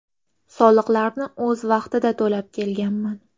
Soliqlarni o‘z vaqtida to‘lab kelganman.